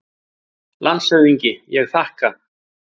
LANDSHÖFÐINGI: Ég þakka.